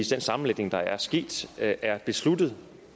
den sammenlægning der er sket er besluttet